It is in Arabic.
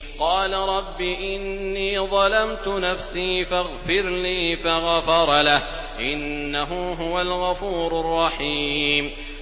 قَالَ رَبِّ إِنِّي ظَلَمْتُ نَفْسِي فَاغْفِرْ لِي فَغَفَرَ لَهُ ۚ إِنَّهُ هُوَ الْغَفُورُ الرَّحِيمُ